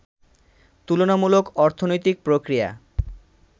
তুলনামূলক অর্থনৈতিক প্রক্রিয়া